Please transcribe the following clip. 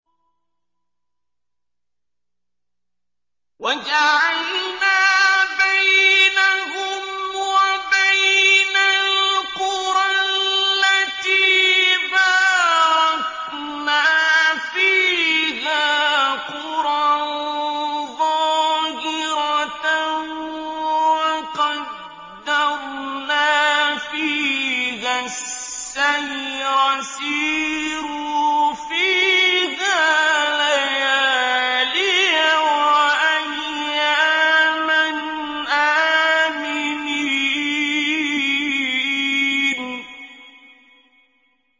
وَجَعَلْنَا بَيْنَهُمْ وَبَيْنَ الْقُرَى الَّتِي بَارَكْنَا فِيهَا قُرًى ظَاهِرَةً وَقَدَّرْنَا فِيهَا السَّيْرَ ۖ سِيرُوا فِيهَا لَيَالِيَ وَأَيَّامًا آمِنِينَ